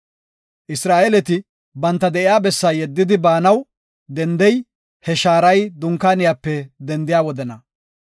Isra7eeleti banta de7iya bessaa yeddidi, baanaw dendey, he shaaray Dunkaaniyape dendiya wodena.